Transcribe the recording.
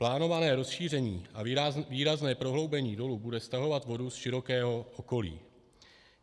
Plánované rozšíření a výrazné prohloubení dolu bude stahovat vodu z širokého okolí.